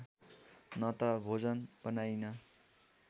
न त भोजन बनाइन्